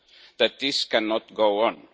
that this cannot go on.